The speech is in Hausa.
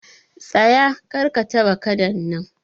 Tsaye! Kar ka taba Kadan nan